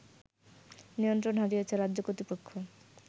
নিয়ন্ত্রণ হারিয়েছে রাজ্য কর্তৃপক্ষ